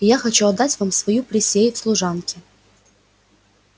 и я хочу отдать вам мою присей в служанки